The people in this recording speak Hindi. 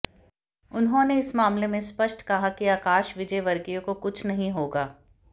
उन्होंने इस मामले में स्पष्ट कहा कि आकाश विजयवर्गीय को कुछ नहीं होगा